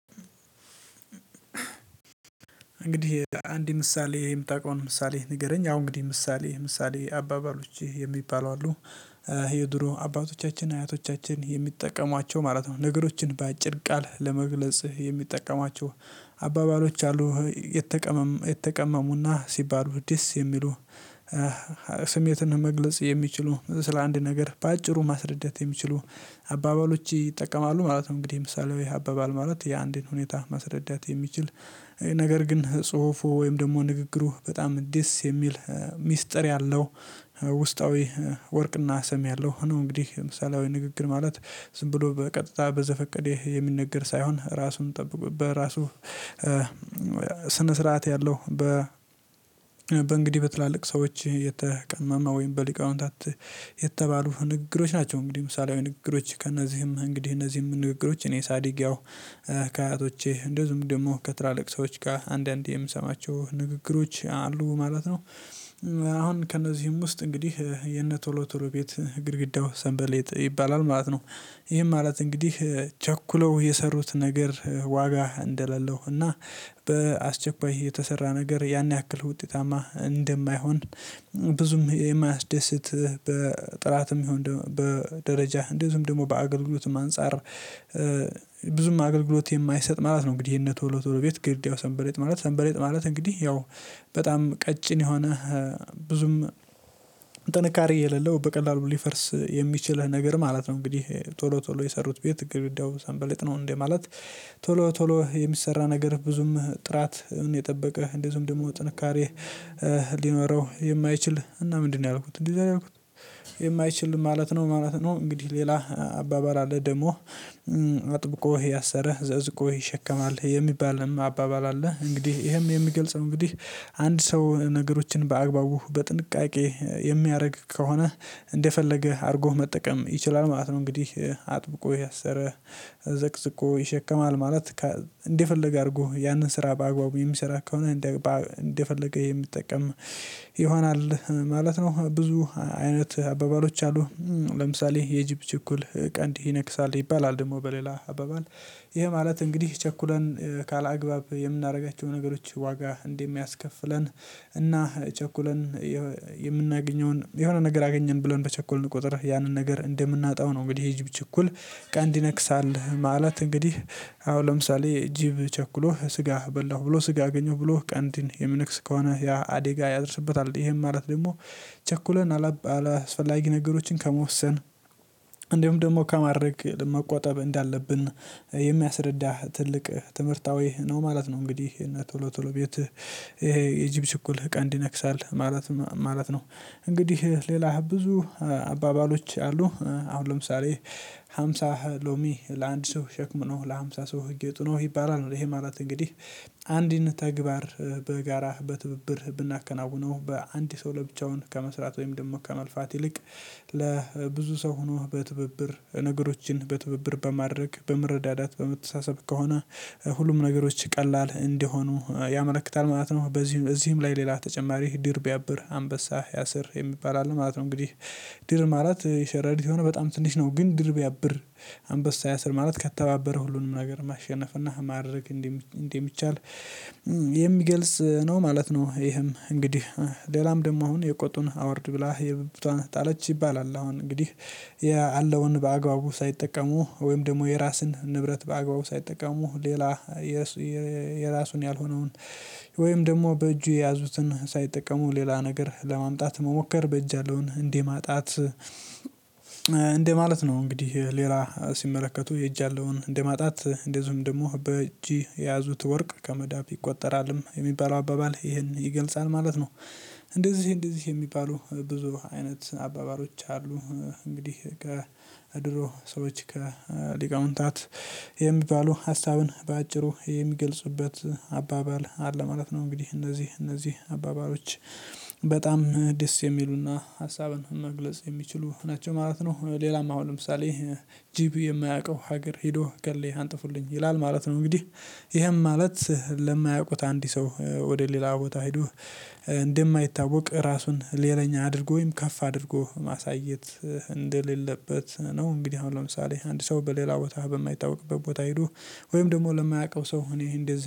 እንግዲህ አንድ ምሳሌ የምታውቀውን ምሳሌ ንገረኝ አሁን እንግዲህ ምሳሌ ምሳሌ አባባሎች የሚባሉ አሉ ይሄ ድሮ አባቶቻችን አያቶቻችን የሚጠቀሟቸው ማለት ነው ነገሮችን በአጭር ቃል ለመግለጽ የሚጠቀሟቸው አባባሎች አሉ። የተቀመሙና ሲባሉ ደስ የሚሉ ስሜትና መግለጽ የሚችሉ ስለ አንድ ነገር በአጭሩ ማስረዳት የሚችሉ አባባሎች ይጠቀማሉ ማለት ነው። እንግዲህ ምሳሌው ይሄ አባባል ማለት የአንድን ሁኔታ መረዳት የሚችል ነገር ግን ጽሁፉ ወይም ደግሞ ንግግሩ በጣም እንዴት የሚል ሚስጥር ያለው ውስጣዊ ወርቅና ሰም ያለው ነው። እንግዲህ ለምሳሌ አይነት ንግግር ማለት ዝም ብሎ በቀጥታ በዘፈቀዴ የሚነገር ሳይሆን ራሱን ጠብቁ በራሱ ስነ ስርዓት ያለው በ በእንግዲህ በትላልቅ ሰዎች የተቀመመ ወይም በሊቃውንታት የተባሉ ንግግሮች ናቸው። እንግዲህ ምሳሌያዊ ንግግሮች ከእነዚህም እንግዲህ እነዚህም ንግግሮች እኔ ሳዲግ ያው ከአያቶቼ እንደውም ደግሞ ከትራለቅሶች ጋር አንዳንዴ የምሰማቸው ንግግሮች አሉ ማለት ነው። አሁን ከእነዚህም ውስጥ እንግዲህ የነ ቶሎ ቶሎ ቤት ግድግዳው ሰንበሌጥ ይባላል ማለት ነው። ይህም ማለት እንግዲህ ቸኩለው የሰሩት ነገር ዋጋ እንደሌለው እና በአስቸኳይ የተሰራ ነገር ያን ያክል ውጤታማ እንደማይሆን ብዙም የማያስደስት በጥራትም ይሁን በደረጃህ እንደዚሁም ደግሞ በአገልግሎትም አንፃር ብዙም አገልግሎት የማይሰጥ ማለት ነው። እንግዲህ ይሄን ተወሎ ተወሎ ቤት ገድግው ሰንበሬጥ ማለት ሰንበሬጥ ማለት እንግዲህ ያው በጣም ቀጭን የሆነ ብዙም ጥንካሬ የሌለው በቀላሉ ሊፈርስ የሚችልህ ነገር ማለት ነው። እንግዲህ ቶሎ ቶሎ የሰሩት ቤት ግብዳው ሰንበለጥ ነው እንዴ ማለት? ቶሎ ቶሎ የሚሰራ ነገር ብዙም ጥራት የጠበቀ እንደዚሁም ደግሞ ጥንካሬ ሊኖረው የማይችል እና ምንድነው ያልኩት እንዲህ ያልኩት የማይችል ማለት ነው ማለት ነው። እንግዲህ ሌላ አባባል አለ ደግሞ አጥብቆህ ያሰረህ ዘዝቆህ ይሸከማል የሚባልህም አባባል አለ። እንግዲህ ይሄም የሚገልጽ እንግዲህ አንድ ሰው ነገሮችን በአግባቡ በጥንቃቄ የሚያደርግ ከሆነ እንደፈለገ አድርጎህ መጠቀም ይችላል ማለት ነው። እንግዲህ አጥብቆህ ያሰረህ ዘቅዝቆ ይሸከማል ማለት እንደፈለገ አድርጎ ያንን ስራ በአግባቡ የሚሰራ ከሆነ እንደፈለገ የሚጠቀም ይሆናል ማለት ነው። ብዙ አይነት አባባሎች አሉ ለምሳሌ የኢጅፕ ችኩል ቀንዲ ይነክሳል ይባላል ደግሞ በሌላ አባባል ይሄ ማለት እንግዲህ ቸኩለን ካላግባብ የምናደርጋቸው ነገሮች ዋጋ እንዲህ የሚያስከፍለን እና ቸኩለን የምናገኘውን የሆነ ነገር አገኘን ብሎን በቸኮልን ቁጥር ያንን ነገር እንደምናጣው ነው እንግዲህ የጅብ ችኩል ቀን ይነክሳል። ማለት እንግዲህ አሁን ለምሳሌ ጂብ ቸኩሎ ስጋ በላሁ ብሎ ስጋ አገኘሁ ብሎ ቀንዲን የምንክስ ከሆነ ያ አዴጋ ያደርስበታል ይሄም ማለት ደግሞ ቸኩለን አላስፈላጊ ነገሮችን ከመወሰን እንደውም ደግሞ ከማድረግ መቆጠብ እንዳለብን የሚያስረዳህ ትልቅ ትምህርታዊ ነው ማለት ነው። እንግዲህ እና ቶሎ ቶሎ ቤት ይሄ የጅብ ችኩል ቀንዲ ነክሳል ማለት ማለት ነው። እንግዲህ ሌላ ብዙ አባባሎች አሉ አሁን ለምሳሌ ሃምሳ ሎሚ ለአንድ ሰው ሸክም ነው ለሃምሳ ሰው ህግ ይጠይቃል ይባላል ይሄ ማራት እንግዲህ አንድን ተግባር በጋራህ በትብብር ብናከናውነው በአንድ ሰው ለብቻውን ከመስራት ወይም ደግሞ ከመልፋት ይልቅ ለብዙ ሰው ሆኖ በትብብር ነገሮችን በትብብር በማድረግ በመረዳዳት በመተሳሰብ ከሆነ ሁሉም ነገሮች ቀላል እንዲሆኑ ያመለክታል ማለት ነው። በዚህም እዚህም ላይ ሌላ ተጨማሪ ድርብ ያብር አንበሳ ያሰር የሚባል አለ ማለት ነው። እንግዲህ ድር ማለት የሸረሪት የሆነ በጣም ትንሽ ነው ግን ድር ብያብር አንበሳ ያሰር ማለት ከተባበረ ሁሉንም ነገር ማሸነፍ እና ማድረግ እንደሚቻል የሚገልጽ ነው ማለት ነው። ይህም እንግዲህ ሌላም ደግሞ አሁን የቆጡን አወርድ ብላ የብቷን ጣለች ይባላል። አሁን እንግዲህ ያለውን በአግባቡ ሳይጠቀሙ ወይም ደግሞ የራሱን ንብረት በአግባቡ ሳይጠቀሙ ሌላ የራሱን ያልሆነውን ወይም ደግሞ በእጁ የያዙትን ሳይጠቀሙ ሌላ ነገር ለማምጣት መሞከር በእጅ ያለውን እንዴ ማጣት እንደማለት ነው እንግዲህ ሌላ ሲመለከቱ የእጅ ያለውን እንደ ማጣት እንደ ዝም ደግሞ በእጅ የያዙት ወርቅ ከመዳብ ይቆጠራልም የሚባለው አባባል ይሄን ይገልጻል ማለት ነው። እንደዚህ እንደዚህ የሚባሉ ብዙ አይነት አባባሮች አሉ። እንግዲህ ከድሮ ሰዎች ከሊቃውንታት የሚባሉ ሀሳብን በአጭሩ የሚገልጽበት አባባል አለ ማለት ነው። እንግዲህ እነዚህ እነዚህ አባባለች በጣም ደስ የሚሉና ሀሳብን መግለጽ የሚችሉ ናቸው ማለት ነው። ሌላም አሁን ለምሳሌ ጂፒ የማያውቀው ሀገር ሄዶ ገሌ አንጥፉልኝ ይላል ማለት ነው። እንግዲህ ይሄም ማለት ለማያውቁት አንድ ሰው ወደ ሌላ ቦታ ሄዶ እንደማይታወቅ ራሱን ሌላኛ አድርጎ ወይም ከፍ አድርጎ ማሳየት እንደሌለበት ነው። እንግዲህ አሁን ለምሳሌ አንድ ሰው በሌላ ቦታ በማይታወቅበት ቦታ ሄዶ ወይም ደግሞ ለማያውቀው ሰው እኔ እንደዚህ